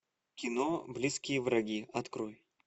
кино близкие враги открой